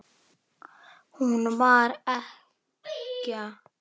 Hún var ekkja.